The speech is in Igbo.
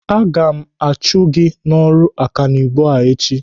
Aga m achụ gị n'ọrụ ọkanibo a echi!